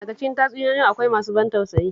Daka cikin tatsuniyoyi akwai masu ban tausayi